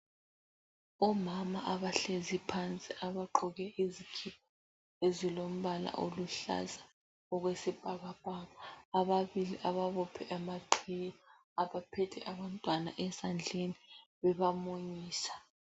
Omama abahlezi phansi abagqoke izikipa ezilombala oluhlaza okwesibhakabhaka. Ababili ababophe amaqhiye , abaphethe abantwana esandleni bebamunyisa.